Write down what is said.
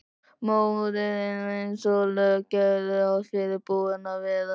Móðirin eins og lög gerðu ráð fyrir búin að vera.